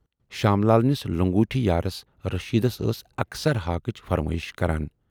شام لال نِس لنگوٗٹۍ یاریس رٔشیٖدس ٲس اکثر ہاکٕچ فرمٲیِش کران۔